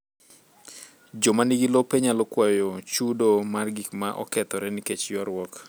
Joma nigi lope nyalo kwayo chudo mar gik ma okethore nikech ywaruok.